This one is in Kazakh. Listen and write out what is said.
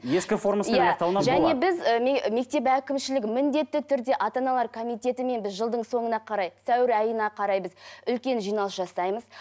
ескі формасымен иә және біз і мектеп әкімшілігі міндетті түрде ата аналар коммитетімен біз жылдың соңына қарай сәуір айына қарай біз үлкен жиналыс жасаймыз